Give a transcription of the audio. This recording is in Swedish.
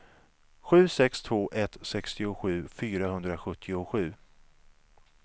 sju sex två ett sextiosju fyrahundrasjuttiosju